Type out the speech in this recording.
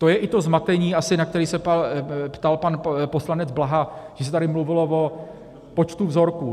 To je i to zmatení asi, na které se ptal pan poslanec Blaha, že se tady mluvilo o počtu vzorků.